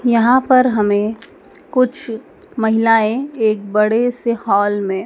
यहां पर हमें कुछ महिलाएं एक बड़े से हाल में--